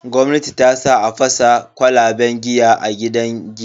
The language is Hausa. Gwamnati tasa a fasa kwalaban giya a gidan giya.